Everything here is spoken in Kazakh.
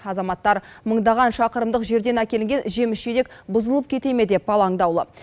азаматтар мыңдаған шақырымдық жерден әкелінген жеміс жидек бұзылып кете ме деп алаңдаулы